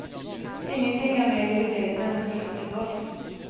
Ingenting er mer irriterende enn å bli satt i bås.